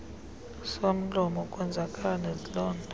somlomo ukwenzakala nezilonda